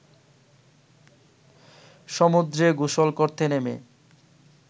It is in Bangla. সমুদ্রে গোসল করতে নেমে